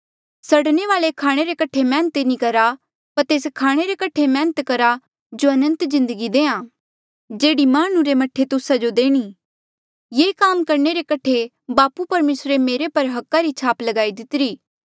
सड़ने वाल्ऐ खाणे रे कठे मैहनत नी करा पर तेस खाणे रे कठे मैहनत करा जो अनंत जिन्दगी देहां जेह्ड़ी हांऊँ माह्णुं रे मह्ठे तुस्सा जो देणी ये काम करणे रे कठे बापू परमेसरे मेरे पर हका री छाप लगाई दितिरी